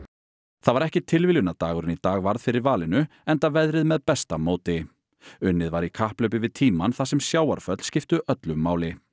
það var ekki tilviljun að dagurinn í dag varð fyrir valinu enda veðrið með besta móti unnið var í kapphlaupi við tímann þar sem sjávarföll skiptu öllu máli